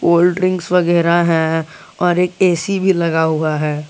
Cold drinks वगैरा है और एक ए_सी भी लगा हुआ है।